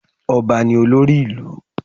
Ọba ni olórí ìlú.